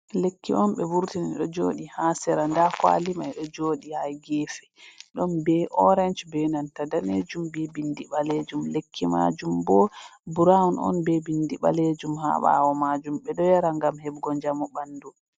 Lekki on ɓe vurtini ɗo joɗi ha sera, nda kuwali ɗo joɗi ha gefe, ɗon be orance be nanta danejum be binndi balejum, lekki majum bo burawon on be bindi ɓalejum ha ɓawo majum, ɓeɗo yara ngam hebugo njamu ɓandu.